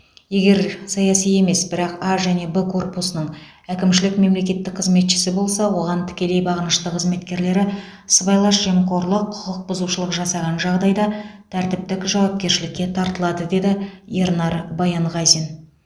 егер саяси емес бірақ а және б корпусының әкімшілік мемлекеттік қызметшісі болса оған тікелей бағынышты қызметкерлері сыбайлас жемқорлық құқық бұзушылық жасаған жағдайда тәртіптік жауапкершілікке тартылады деді ернар баянғазин